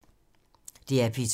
DR P2